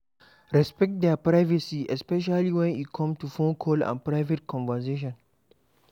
Respect their privacy especially when e come to phone call and private conversation